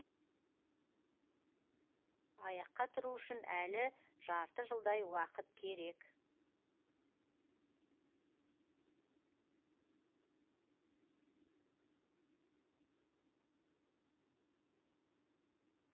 аяққа тұру үшін әлі жарты жылдай уақыт керек